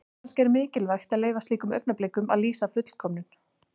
Kannski er mikilvægt að leyfa slíkum augnablikum að lýsa fullkomnun.